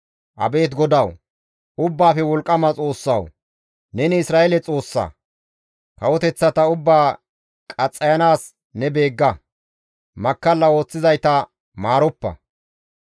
Abeet GODAWU! Ubbaafe Wolqqama Xoossawu! Neni Isra7eele Xoossa; kawoteththata ubbaa qaxxayanaas ne beegga; makkalla ooththizayta maaroppa.